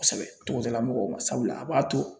Kosɛbɛ togodala mɔgɔw ma sabula a b'a to